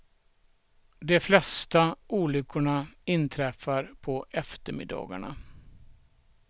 De flesta olyckorna inträffar på eftermiddagarna.